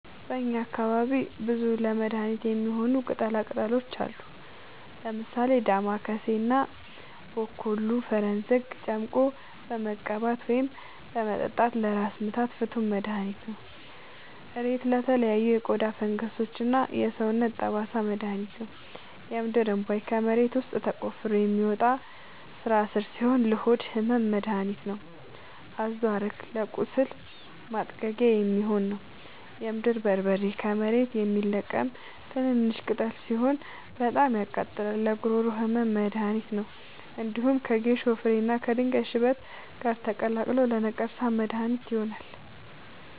በእኛ አካባቢ ብዙ ለመድሀነት የሚሆኑ ቅጠላ ቅጠሎች አሉ። ምሳሌ፦ ዳማከሴ እና ቦኮሉ(ፈረስዘንግ) ጨምቆ በመቀባት ወይም በመጠጣት ለራስ ምታት ፍቱን መድሀኒት ነው። እሬት ለተለያዩ የቆዳ ፈንገሶች እና ለሰውነት ጠባሳ መድሀኒት ነው። የምድርእንቧይ ከመሬት ውስጥ ተቆፍሮ የሚወጣ ስራስር ሲሆን ለሆድ ህመም መደሀኒት ነው። አዞሀረግ ለቁስል ማጥጊያ የሚሆን ነው። የምድር በርበሬ ከመሬት የሚለቀም ትንሽሽ ቅጠል ሲሆን በጣም ያቃጥላል ለጉሮሮ ህመም መድሀኒት ነው። እንዲሁም ከጌሾ ፍሬ እና ከድንጋይ ሽበት ጋር ተቀላቅሎ ለነቀርሳ መድሀኒት ይሆናል።